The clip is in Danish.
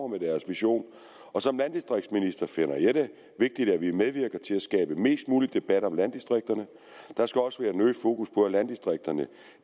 med deres vision som landdistriktsminister finder jeg det vigtigt at vi medvirker til at skabe mest mulig debat om landdistrikterne der skal også være en øget fokus på landdistrikterne